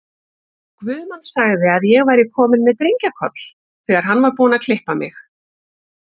Guðmann sagði að ég væri komin með drengjakoll, þegar hann var búinn að klippa mig.